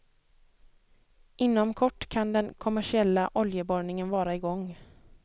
Inom kort kan den kommersiella oljeborrningen vara i gång.